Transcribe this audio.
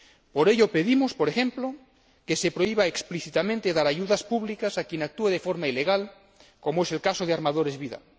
Por ello pedimos, por ejemplo, que se prohíba explícitamente dar ayudas públicas a quien actúe de forme ilegal, como es el caso de Armadores Vidal.